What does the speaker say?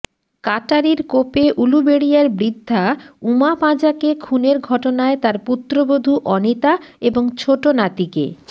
কাটারির কোপে উলুবেড়িয়ার বৃদ্ধা উমা পাঁজাকে খুনের ঘটনায় তাঁর পুত্রবধূ অনিতা এবং ছোট নাতিকে